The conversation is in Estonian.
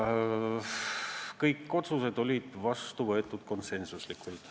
Kõik otsused võeti vastu konsensuslikult.